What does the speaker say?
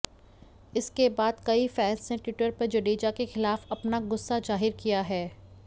इसके बाद कई फैंस ने टि्वटर पर जडेजा के खिलाफ अपना गुस्सा जाहिर किया है